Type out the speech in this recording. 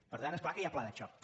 per tant és clar que hi ha pla de xoc